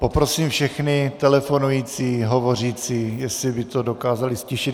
Poprosím všechny telefonující, hovořící, jestli by to dokázali ztišit.